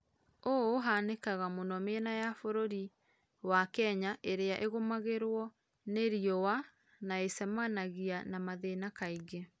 ũũ ũhanĩkaga mũno mĩena ya bũrũrĩ wa kenya ĩrĩa ĩgũmagĩrũo nĩ rĩũa na ĩcemanagĩa na mathĩna kaĩngĩ